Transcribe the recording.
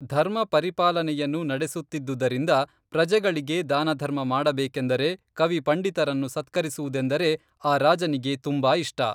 ಧರ್ಮ ಪರಿಪಾಲನೆಯನ್ನು ನಡೆಸುತ್ತಿದ್ದುದರಿಂದ ಪ್ರಜೆಗಳಿಗೆ ದಾನಧರ್ಮ ಮಾಡಬೇಕೇಂದರೆ ಕವಿ ಪಂಡಿತರನ್ನು ಸತ್ಕರಿಸುವುದೆಂದರೆ ಆ ರಾಜನಿಗೇ ತುಂಬಾ ಇಷ್ಟ